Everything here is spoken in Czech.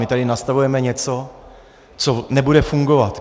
My tady nastavujeme něco, co nebude fungovat.